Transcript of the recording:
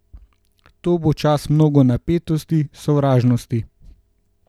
To bo čas mnogo napetosti, sovražnosti.